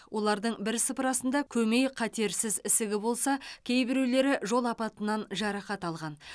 олардың бірсыпырасында көмей қатерсіз ісігі болса кейбіреулері жол апатынан жарақат алған